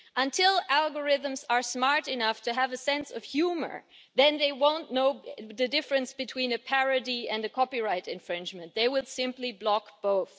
Until algorithms are smart enough to have a sense of humour, then they won't know the difference between a parody and a copyright infringement. They would simply block both.